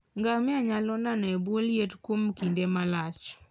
Ngamia nyalo nano e bwo liet kuom kinde malach.